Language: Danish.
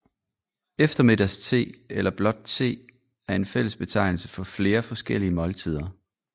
Eftermiddagste eller blot te er en fællesbetegnelse for flere forskellige måltider